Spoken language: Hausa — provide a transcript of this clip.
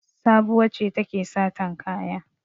Sabuwa ce take satan kaya.